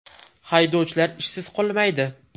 Haydovchilar ishsiz qolmaydi.